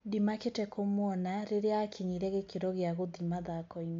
Ndĩmakĩte kũmuona rĩrĩa akinyire gĩkĩro kĩa ngũthi mathako-inĩ."